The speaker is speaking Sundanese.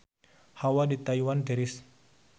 Hawa di Taiwan tiris